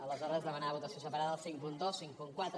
aleshores demanar votació separada del cinquanta dos cinquanta quatre